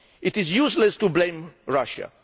It is useless to blame Russia.